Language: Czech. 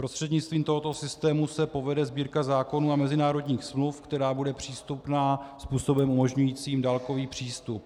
Prostřednictvím tohoto systému se povede Sbírka zákonů a mezinárodních smluv, která bude přístupná způsobem umožňujícím dálkový přístup.